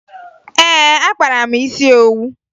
Ee, akpara m isi owu